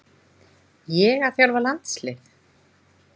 Ég að þjálfa landslið?